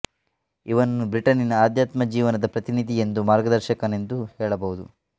ಇವನನ್ನು ಬ್ರಿಟನ್ನಿನ ಅಧ್ಯಾತ್ಮ ಜೀವನದ ಪ್ರತಿನಿಧಿ ಎಂದೂ ಮಾರ್ಗದರ್ಶಕನೆಂದೂ ಹೇಳಬಹುದು